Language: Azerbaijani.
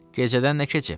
Gecədən nə keçib?